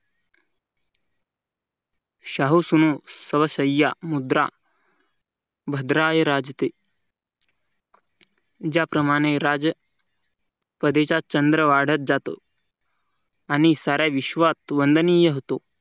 ओ सुनो शाहू स्व मुद्रा भद्राय राजते ज्याप्रमाणे राजा हळदीचा चंद्र वाढत जातो आणि साऱ्या विश्वात वंदनीय होतो.